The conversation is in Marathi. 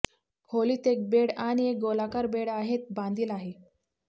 खोलीत एक बेड आणि एक गोलाकार बेड आहेत बांधिल आहे